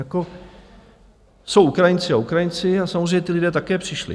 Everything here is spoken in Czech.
Jako jsou Ukrajinci a Ukrajinci a samozřejmě ti lidé také přišli.